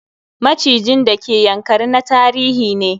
Macijin d ke Ynakari na tarihi ne.